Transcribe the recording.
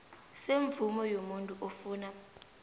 semvumo yomuntu ofuna